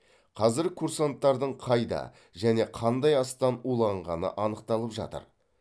қазір курсанттардың қайда және қандай астан уланғаны анықталып жатыр